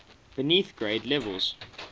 beneath grade levels